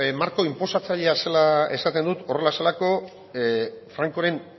marko inposatzailea zela esaten dut horrela zelako francoren